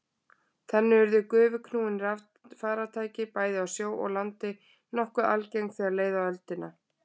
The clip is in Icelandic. Þannig urðu gufuknúin farartæki, bæði á sjó og landi, nokkuð algeng þegar leið á öldina.